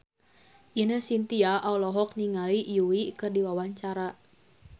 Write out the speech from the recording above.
Ine Shintya olohok ningali Yui keur diwawancara